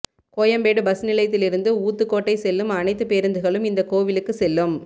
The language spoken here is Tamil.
கோயம்பேடு பஸ் நிலையத்தில் இருந்து ஊத்துக்கோட்டை செல்லும் அனைத்து பேருந்துகளும் இந்த கோவிலுக்கு செல்லும்